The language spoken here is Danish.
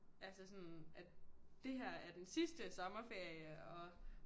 Altså sådan at det her er den sidste sommerferie og